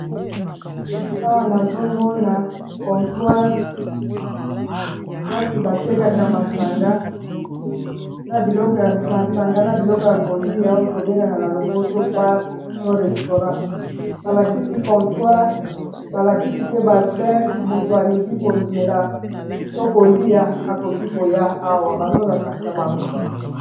Awa nazomona contoire plasi batekaka masanga na biloko masanga na biloko ya kolia oyo tobengaka na lopoto bare to restaurant balakisi contoire balakisi pe ba vere moto alingi komela to kolia akoki koya awa bazolakisa bango